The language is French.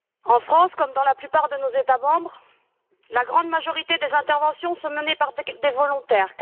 En France, comme dans la plupart de nos États membres, la grande majorité des interventions sont menées par des équipes volontaires.